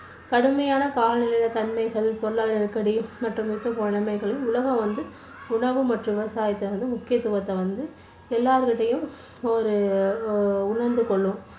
கடுமையான காலநிலை தன்மைகள் பொருளாதார நெருக்கடி மற்றும் உலகம் வந்து உணவு மற்றும் விவசாயாத்த வந்து முக்கியத்துவத்தை வந்து எல்லோருமே ஒரு ஆஹ் உணர்ந்து கொள்ளும்.